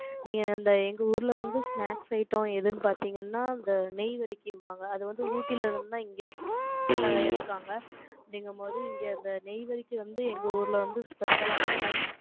நீங்க அந்த எங்க ஊர்ல வந்து, snacks item எதுன்னு பாத்தீங்கன்னா, இந்த நெய்வருக்கிம்பாங்க. அது வந்து, ஊட்டில இருந்து தான் இங்க, எடுப்பாங்க. அப்படிங்கும்போது, இங்க அந்த நெய்வருக்கிக்கு வந்து, எங்க ஊர்ல வந்து, special ஆ இருக்கும்.